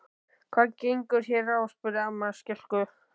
Hvað gengur hér á? spurði amma skelkuð.